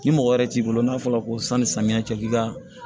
Ni mɔgɔ wɛrɛ t'i bolo n'a fɔra ko sanni samiyɛ cɛ k'i ka